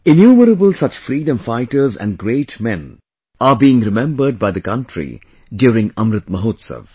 Innumerable such freedom fighters and great men are being remembered by the country during Amrit Mahotsav